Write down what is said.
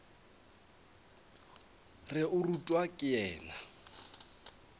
re o rutwa ke yena